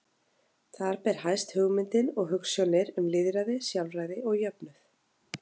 Þar ber hæst hugmyndir og hugsjónir um lýðræði, sjálfræði og jöfnuð.